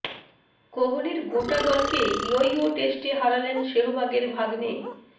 কোহলির গোটা দলকে ইয়ো ইয়ো টেস্টে হারালেন শেহবাগের ভাগ্নে